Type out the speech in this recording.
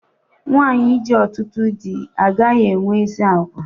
Nwanyi ji ọtụtụ dị agaghị enwe ezi àgwà